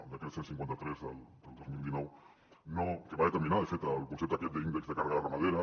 el decret cent i cinquanta tres del dos mil dinou que va determinar de fet el concepte aquest d’índex de càrrega ramadera